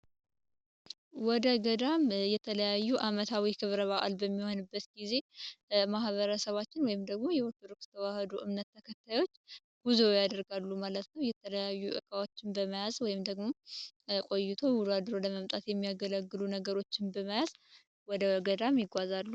ወደ ገዳም የተለያዩ አመታዊ ክብረ በአል በሚሆንበት ጊዜ ማህበረሰባችን ወይም ደግሞ የኦርቶዶክስ እምነት ተከታዮች ጉዞ ያደርጋሉ ማለት ነው የተለያዩ እቃዎችን በመያዝ ቆይቶ ውሎ አድሮ ለመምጣት የሚያገለግሉ ነገሮችን በመያዝ ወደ ገዳም ይጓዛሉ።